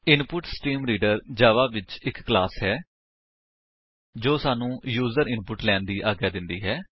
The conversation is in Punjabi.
ਇਨਪੁਟਸਟ੍ਰੀਮਰੀਡਰ ਜਾਵਾ ਵਿੱਚ ਇੱਕ ਕਲਾਸ ਹੈ ਜੋ ਸਾਨੂੰ ਯੂਜਰ ਇਨਪੁਟ ਲੈਣ ਦੀ ਆਗਿਆ ਦਿੰਦੀ ਹੈ